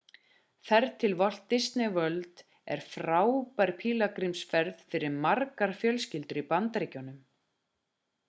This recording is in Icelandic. ferð til walt disney world er frábær pílagrímsferð fyrir margar fjölskyldur í bandaríkjunum